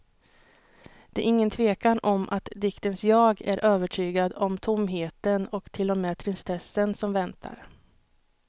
Det är ingen tvekan om att diktens jag är övertygad om tomheten och till och med tristessen som väntar.